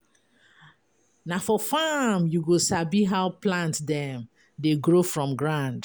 Na for farm you go sabi how plant dem dey grow from ground.